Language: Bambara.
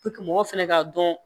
mɔgɔ fɛnɛ k'a dɔn